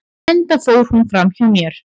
enda fór hún fram hjá mér